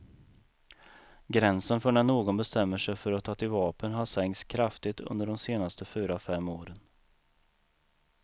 Gränsen för när någon bestämmer sig för att ta till vapen har sänkts kraftigt under de senaste fyra fem åren.